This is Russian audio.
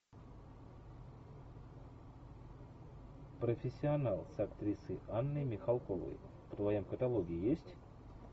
профессионал с актрисой анной михалковой в твоем каталоге есть